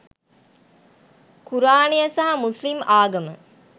කුරාණය සහ මුස්ලිම් ආගම